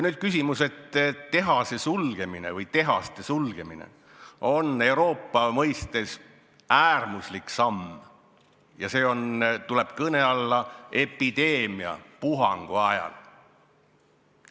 Nüüd küsimus, et tehase sulgemine või tehaste sulgemine on Euroopa mõistes äärmuslik samm, mis tuleb kõne alla epideemiapuhangu ajal.